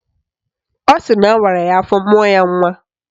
Ọ sịrị na awara ya afọ mụọ ya nnwa